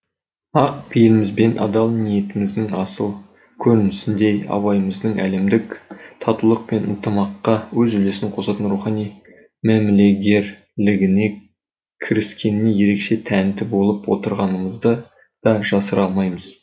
ақ пейіліміз бен адал ниетіміздің асыл көрінісіндей абайымыздың әлемдік татулық пен ынтымаққа өз үлесін косатын рухани мәмілегерлігіне кіріскеніне ерекше тәнті болып отырғанымызды да жасыра алмаймыз